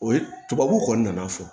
O ye tubabuw kɔni nana fɔ